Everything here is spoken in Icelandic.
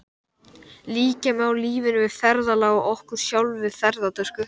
Líkja má lífinu við ferðalag og okkur sjálfum við ferðatösku.